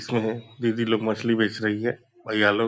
इसमें है। दीदी लोग मछली बेच रही हैं। भैया लोग --